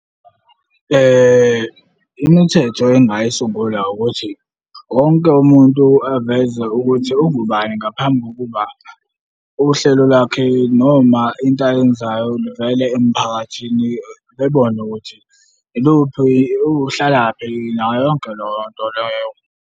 Imithetho engingayisungula ukuthi wonke umuntu aveze ukuthi ungubani ngaphambi kokuba uhlelo lwakhe noma into ayenzayo livele emphakathini bebone ukuthi iluphi, uhlalaphi nayo yonke leyo nto leyo.